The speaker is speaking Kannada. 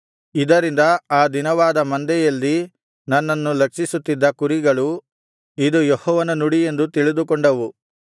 ಇದರಿಂದ ಆ ದೀನವಾದ ಮಂದೆಯಲ್ಲಿ ನನ್ನನ್ನು ಲಕ್ಷಿಸುತ್ತಿದ್ದ ಕುರಿಗಳು ಇದು ಯೆಹೋವನ ನುಡಿ ಎಂದು ತಿಳಿದುಕೊಂಡವು